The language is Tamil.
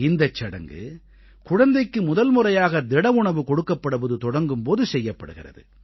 இந்தச் சடங்கு குழந்தைக்கு முதல்முறையாக திடஉணவு கொடுக்கப்படுவது தொடங்கும் போது செய்யப்படுகிறது